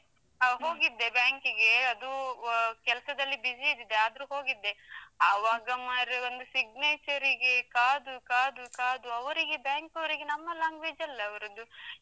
ಹೋಗಿದ್ದೆ ಬ್ಯಾಂಕಿಗೆ, ಅದೂ ಕೆಲಸದಲ್ಲಿ busy ಇದ್ದಿದ್ದೆ ಆದ್ರೂ ಹೋಗಿದ್ದೆ, ಅವಾಗ ಮಾರೆ ಒಂದು signature ರಿಗೆ ಕಾದು ಕಾದು ಕಾದು ಅವರಿಗೆ, ಬ್ಯಾಂಕವರಿಗೆ ನಮ್ಮ language ಅಲ್ಲ ಅವರದ್ದು.